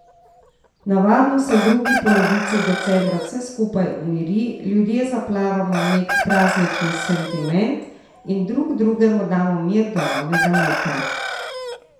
Navadno se v drugi polovici decembra vse skupaj umiri, ljudje zaplavamo v nek praznični sentiment in drug drugemu damo mir do novega leta.